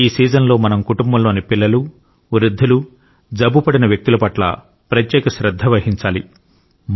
ఈ సీజన్ లో మనం కుటుంబంలోని పిల్లలు వృద్ధులు జబ్బుపడిన వ్యక్తుల పట్ల ప్రత్యేక శ్రద్ధ వహించాలి